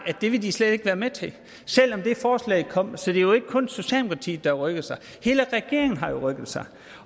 at det ville de slet ikke være med til selv om det forslag kom så det er jo ikke kun socialdemokratiet der har rykket sig hele regeringen har rykket sig